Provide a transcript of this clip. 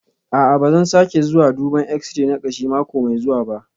A'a, ba zan sake zuwa duban x-ray na kashi mako mai zuwa ba